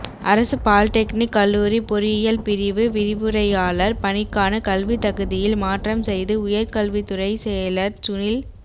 அரசு பாலிடெக்னிக் கல்லூரி பொறியியல் பிரிவு விரிவுரையாளர் பணிக்கான கல்வித் தகுதியில் மாற்றம் செய்து உயர்கல்வித் துறைசெயலர் சுனில்